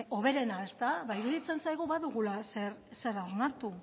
hoberena ezta ba iruditzen zaigu badugula zera onartu